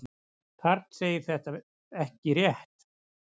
Karl segir þetta ekki rétt.